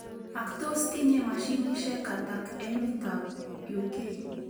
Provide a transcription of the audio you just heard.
Ak tos tinye mashinishek atak emet ab UK.